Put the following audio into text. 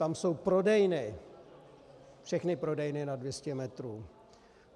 Tam jsou prodejny, všechny prodejny nad 200 metrů.